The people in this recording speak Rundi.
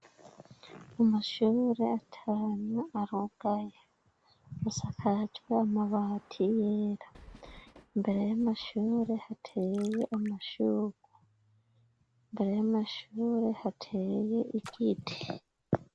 Umushurure atanywa arogaya musakajwe amabati yera imbere y'amashurure hateye amashurwa imbere y'amashurure hateye igiti.